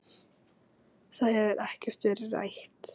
Það hefur ekkert verið rætt.